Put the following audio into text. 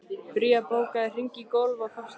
Bría, bókaðu hring í golf á föstudaginn.